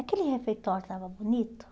Aquele refeitório estava bonito?